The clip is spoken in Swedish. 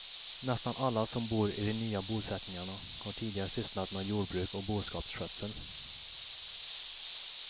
Nästan alla som bor i de nya bosättningarna har tidigare sysslat med jordbruk och boskapsskötsel.